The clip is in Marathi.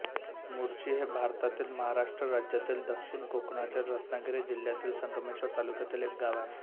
मुर्शी हे भारतातील महाराष्ट्र राज्यातील दक्षिण कोकणातील रत्नागिरी जिल्ह्यातील संगमेश्वर तालुक्यातील एक गाव आहे